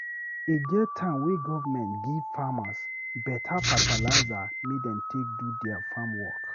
E get di time wey government give farmers beta fertilizer make dem take do their farm work.